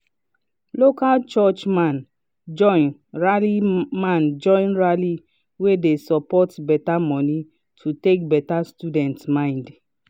local church man join rally man join rally wey de support better money to take better student mind